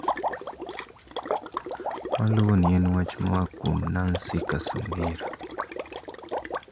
Maluwoni en wach moa kuom Nancy Kacungira.